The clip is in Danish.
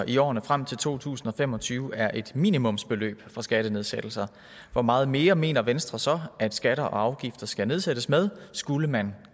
i årene frem til to tusind og fem og tyve er et minimumsbeløb for skattenedsættelser hvor meget mere mener venstre så at skatter og afgifter skal nedsættes med skulle man